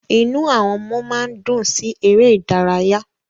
Inú àwọn ọmọ máa ń dùn sí ère idaraya